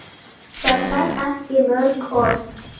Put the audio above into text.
Það þarf ekki mörg orð.